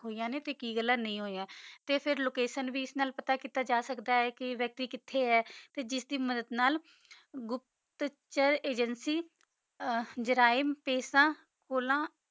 ਹੋਇਆ ਨਾ ਤਾ ਕੀ ਗਲਾ ਨਹੀ ਹੋਇਆ ਫਿਰ ਲੋਕੈਤਿਓਂ ਵੀ ਪਤਾ ਕੀਤੀ ਜਾ ਸਕਦੀ ਆ ਕਾ ਵਾਕ੍ਟਿਆ ਕਿਥਾ ਆ ਤਾ ਆਸ ਚੀਜ਼ ਦੀ ਮਦਦ ਨਾਲ ਗੁਪਤ ਚੰਦ ਏਜੰਸੀ ਜਾਰਿਮ ਅਸਰ ਫੋਲਾ